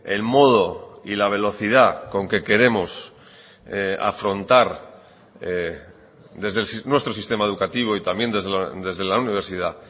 el modo y la velocidad con que queremos afrontar desde nuestro sistema educativo y también desde la universidad